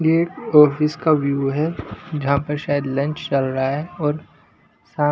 ये ऑफिस व् का व्यू हैजहां पर शायद लंच चल रहा हैऔर शा--